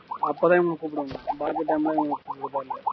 அப்பதான் இவங்கள கூப்பிடனும் பாக்கி time ல இவங்கள கூப்பிட தேவையில்லை